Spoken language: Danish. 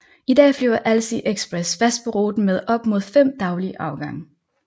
I dag flyver Alsie Express fast på ruten med op mod fem daglige afgange